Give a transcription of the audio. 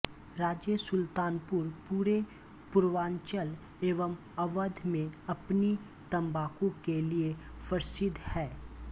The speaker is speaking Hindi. राजेसुल्तानपुर पूरे पूर्वांचल एवं अवध में अपनी तम्बाकू के लिऐ प्रसिद्ध है